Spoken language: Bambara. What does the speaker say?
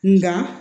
Nga